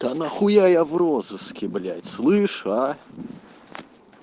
да нахуя я в розыске блять слышишь а